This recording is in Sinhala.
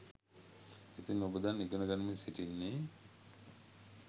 ඉතින් ඔබ දැන් ඉගෙන ගනිමින් සිටින්නේ